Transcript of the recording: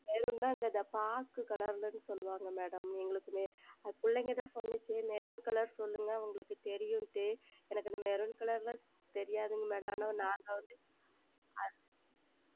Maroon என்றால் இந்த பாக்கு Color என்று சொல்லுவார்கள் Madam எங்களுக்கும் பிள்ளைகள் தான் சொன்னார்கள் Maroon Color சொல்லுங்கள் அவர்களுக்கு தெரியும் என்று எனக்கு அந்த Maroon Color எல்லாம் தெரியாது ஆனால் நாங்கள் வந்து